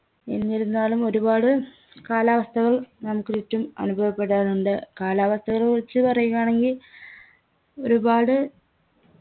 എന്തിരുന്നാലും ഒരുപാട് കാലാവസ്ഥകൾ നമുക്ക് ചുറ്റും അനുഭവപ്പെടാറുണ്ട് കാലാവസ്ഥയെ കുറിച്ച് പറയുകയാണെങ്കി ഒരുപാട്